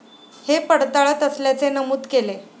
हे पडताळात असल्याचे नमूद केले.